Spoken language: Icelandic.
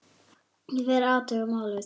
Ég fer og athuga málið.